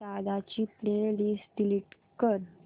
दादा ची playlist delete कर